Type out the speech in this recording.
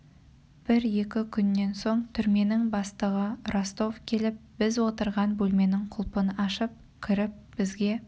бір-екі күннен соң түрменің бастығы ростов келіп біз отырған бөлменің құлпын ашып кіріп бізге